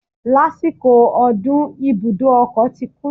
Lásìkò ọdún, ibùdó ọkọ̀ ti kún